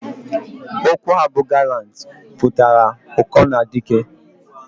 Okwu a bu "gallant" putara uko na dike.